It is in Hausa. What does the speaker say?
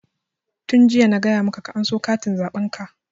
Tun jiya na gaya maka aka anso katin zaɓen ka!